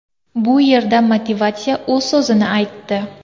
Bu yerda motivatsiya o‘z so‘zini aytdi.